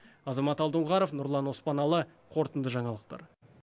азамат алдоңғаров нұрлан оспаналы қорытынды жаңалықтар